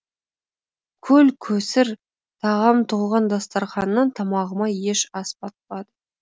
көл көсір тағам толған дастарханнан тамағыма еш ас батпады